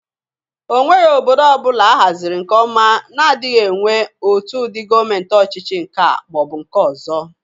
Onweghi obodo ọbụla ahazịrị nke ọma na-adịgị enwe otu ụdị Gọmenti ọchịchị nke a ma ọ bụ nke ọzọ.